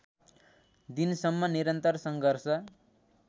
दिनसम्म निरन्तर सङ्घर्ष